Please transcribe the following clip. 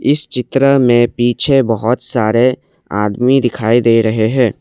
इस चित्र में पीछे बहोत सारे आदमी दिखाई दे रहे हैं।